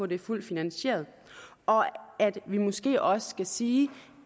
det er fuldt finansieret og at vi måske også skal sige